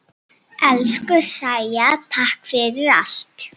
Elsku Sæja, takk fyrir allt.